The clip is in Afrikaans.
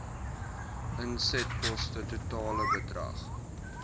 insetkoste totale bedrag